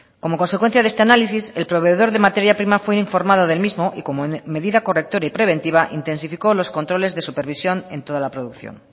como consecuencia de este análisis el proveedor de materia prima fue informado del mismo y como medida correctora y preventiva intensificó los controles de supervisión en toda la producción